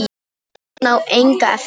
Hann á enga eftir.